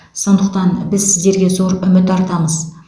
сондықтан біз сіздерге зор үміт артамыз